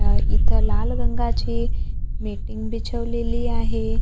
अह इथं लाल रंगाची मेटिंग बिछवलेली आहे.